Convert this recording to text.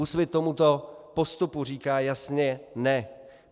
Úsvit tomuto postupu říká jasně - ne!